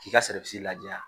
K'i ka ladiya.